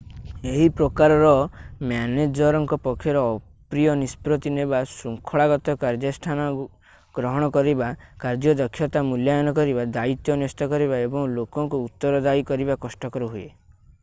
ଏହି ପ୍ରକାରର ମ୍ୟାନେଜରଙ୍କ ପକ୍ଷରେ ଅପ୍ରିୟ ନିଷ୍ପତ୍ତି ନେବା ଶୃଙ୍ଖଳାଗତ କାର୍ଯ୍ୟାନୁଷ୍ଠାନ ଗ୍ରହଣ କରିବା କାର୍ଯ୍ୟଦକ୍ଷତା ମୂଲ୍ୟାୟନ କରିବା ଦାୟିତ୍ୱ ନ୍ୟସ୍ତ କରିବା ଏବଂ ଲୋକଙ୍କୁ ଉତ୍ତରଦାୟୀ କରିବା କଷ୍ଟକର ହୁଏ